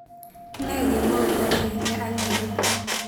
Ne kemout agenge ak nairobi